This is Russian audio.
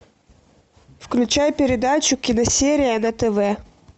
включай передачу киносерия на тв